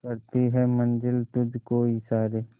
करती है मंजिल तुझ को इशारे